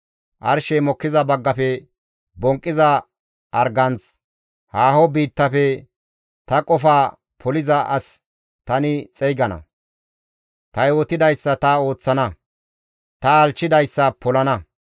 Arshey mokkiza baggafe bonqqiza arganth, haaho biittafe ta qofa poliza as tani xeygana. Ta yootidayssa ta ooththana; ta halchchidayssa ta polana.